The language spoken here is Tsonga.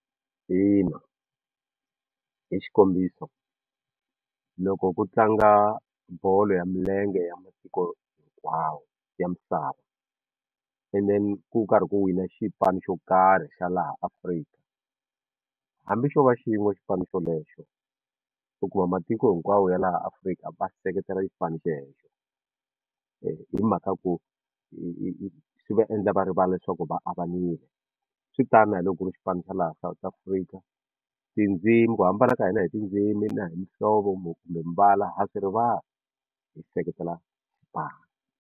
Ina hi xikombiso loko ku tlanga bolo ya milenge ya masiku hinkwawo ya misava and then ku karhi ku wina xipano xo karhi xa laha Afrika hambi xo va xin'we xipano xolexo u kuma matiko hinkwawo ya laha Afrika va seketela xipano xelexo hi mhaka ku hi hi hi swi va endla va rivala leswaku va avanile swi tani na loko ri xipano xa laha South Africa tindzimi ku hambana ka hina hi tindzimi na hi muhlovo kumbe mbala ha swi rivala hi seketela xipano.